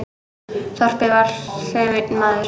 Þorpið var sem einn maður.